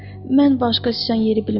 Mən başqa sıçan yeri bilmirəm.